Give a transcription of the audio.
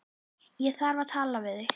Ég þarf að tala við þig.